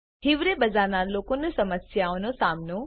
હિવરે બજારના લોકોનો સમસ્યાઓ નો સામનો